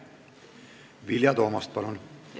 Vilja Toomast, palun!